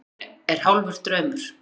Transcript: Hugurinn er hálfur draumur.